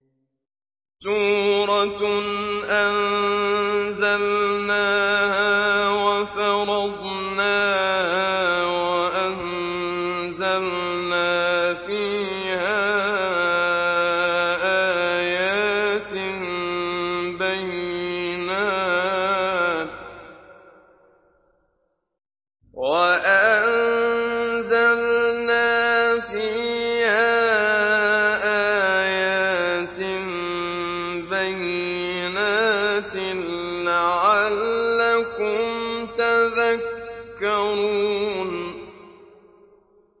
سُورَةٌ أَنزَلْنَاهَا وَفَرَضْنَاهَا وَأَنزَلْنَا فِيهَا آيَاتٍ بَيِّنَاتٍ لَّعَلَّكُمْ تَذَكَّرُونَ